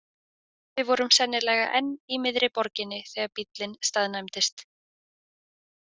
Við vorum sennilega enn í miðri borginni þegar bíllinn staðnæmdist.